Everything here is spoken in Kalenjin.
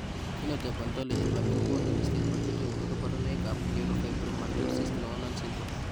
Phenotype ontology nebo biik kokoonu listini bo chetogu ak kaborunoik ab Neurofibromatosis Noonan syndrome